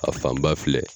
A fan ba filɛ